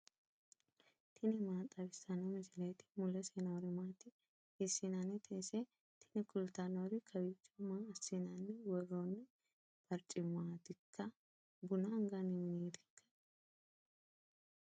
tini maa xawissanno misileeti ? mulese noori maati ? hiissinannite ise ? tini kultannori kawiicho maa assinanni worroonni barcimmaatikka buna anganni mineetikka